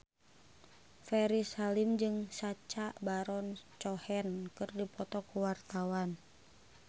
Ferry Salim jeung Sacha Baron Cohen keur dipoto ku wartawan